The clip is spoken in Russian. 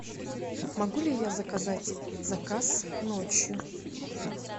могу ли я заказать заказ ночью